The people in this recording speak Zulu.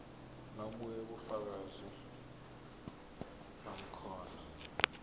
nobunye ubufakazi bamakhono